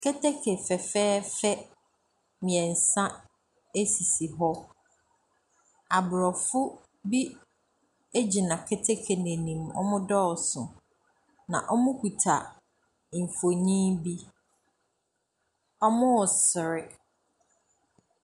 Keteke fɛfɛɛfɛ mmensa sisi hɔ. Aborɔfo bi gyina keteke no anim, wɔdɔɔso, na wɔkita mfonin bi. Wɔresere.